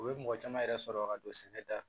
U ye mɔgɔ caman yɛrɛ sɔrɔ ka don sɛnɛ la